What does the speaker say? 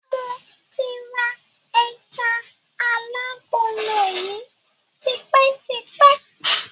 Mo ti ra ẹjà alágolo yìí tipẹ́ tipẹ́.